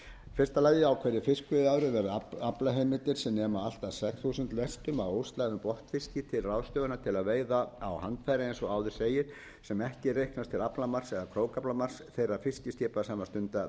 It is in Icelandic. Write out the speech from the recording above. helstar fyrstu á hverju fiskveiðiári verða aflaheimildir sem nema allt að sex þúsund lestum af óslægðum botnfiski til ráðstöfunar til að veiða á handfæri eins og áður segir sem ekki reiknast til aflamarks eða krókaflamarks þeirra fiskiskipa sem stunda veiðarnar